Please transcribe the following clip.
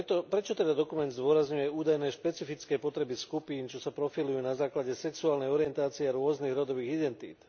Prečo teda dokument zdôrazňuje údajné špecifické potreby skupín, čo sa profilujú na základe sexuálnej orientácie a rôznych rodových identít?